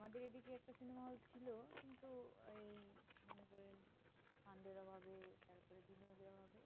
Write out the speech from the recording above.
আমাদের এই দিকে একটা cinema hall ছিল কিন্তু ওই আমাদের